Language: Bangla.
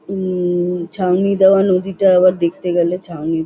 উ-ম-ম-ম ছাউনি দেওয়া নদীটা আবার দেখতে গেলে ছাউনি--